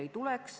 Aitäh!